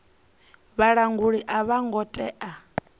vhalanguli a vho ngo tea